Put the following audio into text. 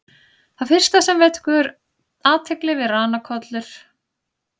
Það fyrsta sem vekur athygli við ranakollur er röð gadda eftir endilöngu bakinu.